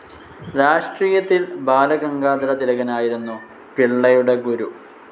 രാഷ്ട്രീയത്തിൽ ബാലഗംഗാധര തിലകനായിരുന്നു പിള്ളയുടെ ഗുരു.